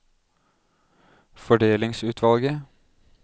fordelingsutvalget